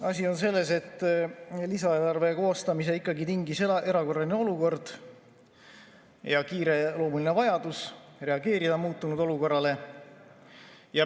Asi on selles, et lisaeelarve koostamise tingis erakorraline olukord ja kiireloomuline vajadus reageerida muutunud olukorrale.